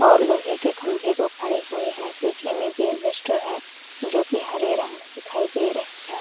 और लोहै के खंभे को फाड़े हुए हैं पीछे में एक इल्वेस्टर हैं जो की हरे रंग में दिखाई दे रहै हैं।